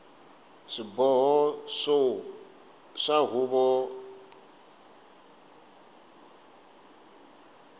swiboho swa tihuvo ta ndhavuko